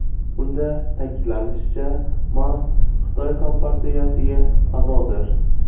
Unda ta’kidlanishicha, Ma Xitoy kompartiyasiga a’zodir.